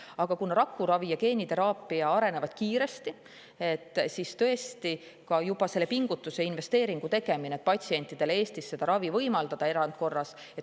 Aga kuna rakuravi ja geeniteraapia arenevad kiiresti, siis on oluline ka juba selle pingutuse ja investeeringu tegemine, et patsientidele Eestis seda ravi erandkorras võimaldada.